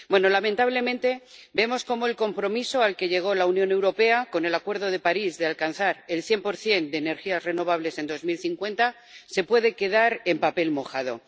Lamentablemente, vemos cómo el compromiso al que llegó la Unión Europea con el Acuerdo de París de alcanzar el 100 de energías renovables en 2050 se puede quedar en papel mojado.